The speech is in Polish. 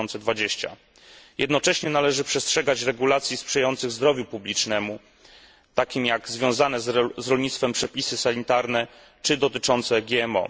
2020. Jednocześnie należy przestrzegać regulacji sprzyjających zdrowiu publicznemu, takich jak związane z rolnictwem przepisy sanitarne czy dotyczące GMO.